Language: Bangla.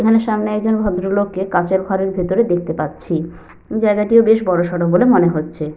এখানে সামনে একজন ভদ্রলোকে কাঁচের ঘরের ভেতরে দেখতে পাচ্ছি। জায়গাটিও বেশ বড়-সড়ো বলে মনে হচ্ছে।